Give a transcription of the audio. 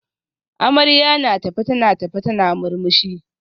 Amarya na tafe tana tafe tana murmushi